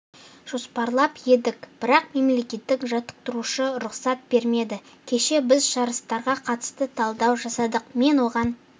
жоспарлап едік бірақ мемлекеттік жаттықтырушы рұқсат бермеді кеше біз жарыстарға қатысты талдау жасадық мен оған